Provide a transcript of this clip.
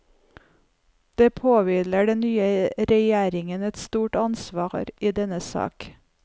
Det påhviler den nye regjeringen et stort ansvar i denne sak.